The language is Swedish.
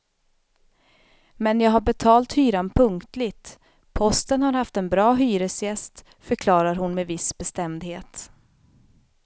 Men jag har betalt hyran punktligt, posten har haft en bra hyresgäst, förklarar hon med viss bestämdhet.